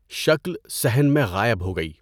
شکل صحن میں غائب ہو گئی۔